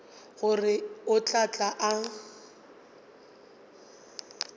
gore o tla tla a